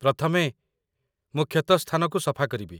ପ୍ରଥମେ, ମୁଁ କ୍ଷତ ସ୍ଥାନକୁ ସଫା କରିବି